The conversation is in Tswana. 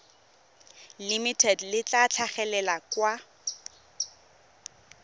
limited le tla tlhagelela kwa